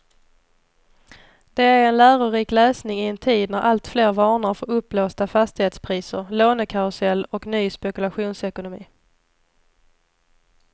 Det är en lärorik läsning i en tid när alltfler varnar för uppblåsta fastighetspriser, lånekarusell och ny spekulationsekonomi.